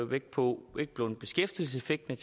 vægt på beskæftigelseseffekten